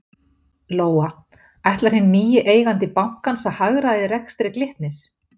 Lóa: Ætlar hinn nýi eigandi bankans að hagræða í rekstri Glitnis?